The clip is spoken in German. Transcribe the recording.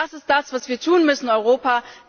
Das ist das, was wir tun müssen, Europa!